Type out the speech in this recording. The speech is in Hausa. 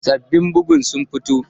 Sabbin bugu sun fito